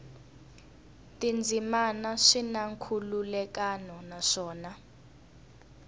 tindzimana swi na nkhulukelano naswona